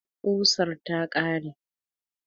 Ƙusar ta ƙare